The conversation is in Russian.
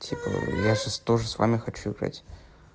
я сейчас тоже с вами хочу играть